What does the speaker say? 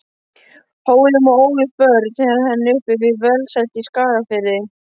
Hólum og ólust börn hennar upp við velsæld í Skagafirði.